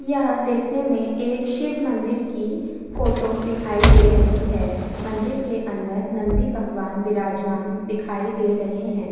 यहाँ देखने में एक शिव मंदिर की फोटो दिखाई दे रही है मंदिर के अंदर नंदी भगवान विराजमान दिखाई दे रहे है।